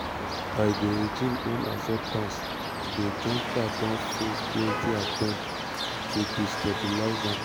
by di regime own acceptance di junta don face plenti attempts to destabilise am. am.